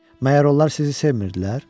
Məgər onlar sizi sevmirdilər?